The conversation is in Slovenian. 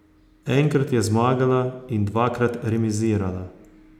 Enkrat je zmagala in dvakrat remizirala.